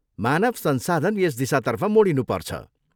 मानव संसाधन यस दिशातर्फ मोडिनु पर्छ।